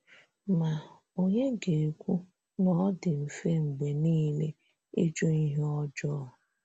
Ma, ònye ga - ekwu na ọ dị mfe mgbe nile ịjụ ihe ọjọọ?